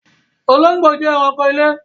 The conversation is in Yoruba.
Olóngbó jẹ ẹranko ilé